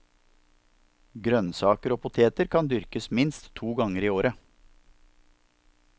Grønnsaker og poteter kan dyrkes minst to ganger i året.